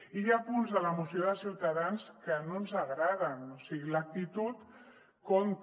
i hi ha punts de la moció de ciutadans que no ens agraden o sigui l’actitud compta